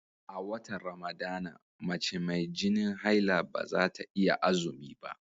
A watan Ramadana, mace mai jinin haila ba za ta iya azumi ba.